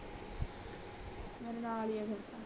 ਮੇਰੇ ਨਾਲ ਹੀ ਫੇਰ ਆ ਤੋਂ